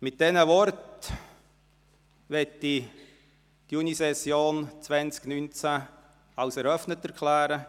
Mit diesen Worten möchte ich die Junisession 2019 als eröffnet erklären.